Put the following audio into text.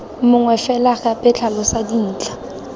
mongwe fela gape tlhalosa dintlha